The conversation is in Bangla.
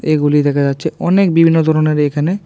এগুলি দেখা যাচ্ছে অনেক বিবিন্ন দরনের এখানে।